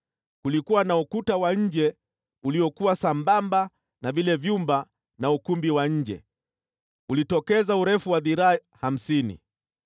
Kulikuwa na ukuta wa nje uliokuwa sambamba na vile vyumba na ukumbi wa nje, ulitokeza urefu wa dhiraa hamsini.